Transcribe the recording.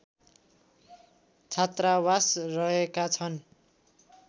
छात्रावास रहेका छन्